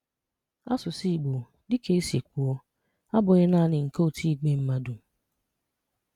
Àsụsụ́ Ìgbò, dịka e si kwùo, abụghị́ nanị nke otu ìgwè mmadụ.